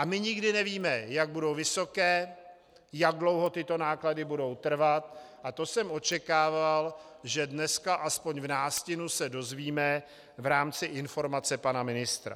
A my nikdy nevíme, jak budou vysoké, jak dlouho tyto náklady budou trvat, a to jsem očekával, že dneska aspoň v nástinu se dozvíme v rámci informace pana ministra.